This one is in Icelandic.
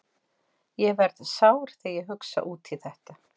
Ég verð sár þegar ég hugsa út í þetta.